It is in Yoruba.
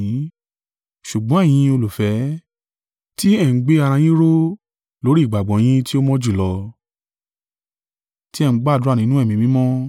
Ṣùgbọ́n ẹ̀yin, olùfẹ́, ti ẹ ń gbé ara yín ró lórí ìgbàgbọ́ yín tí ó mọ́ jùlọ, ti ẹ ń gbàdúrà nínú Ẹ̀mí Mímọ́.